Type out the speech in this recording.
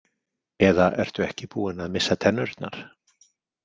Eða ertu ekki búin að missa tennurnar?